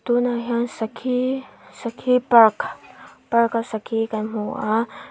tunah hian sakhi sakhi park park a sakhi kan hmu a.